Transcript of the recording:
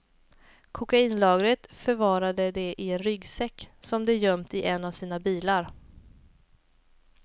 Kokainlagret förvarade de i en ryggsäck som de gömt i en av sina bilar.